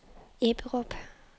Ebberup